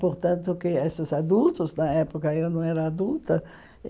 Portanto, que esses adultos, na época, eu não era adulta.